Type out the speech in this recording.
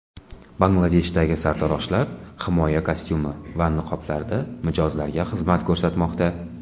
Bangladeshdagi sartaroshlar himoya kostyumi va niqoblarda mijozlarga xizmat ko‘rsatmoqda.